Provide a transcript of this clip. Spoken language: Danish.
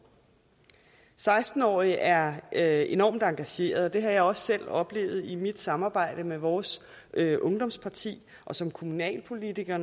seksten årige er er enormt engagerede det har jeg også selv oplevet i mit samarbejde med vores ungdomsparti og som kommunalpolitiker